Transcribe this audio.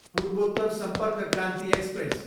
पूर्वोत्तर सम्पर्क क्रान्ति एक्सप्रेस